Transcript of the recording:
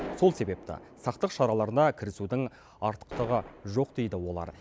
сол себепті сақтық шараларына кірісудің артықтығы жоқ дейді олар